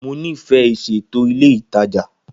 Mo nifẹ iṣeto ile itaja.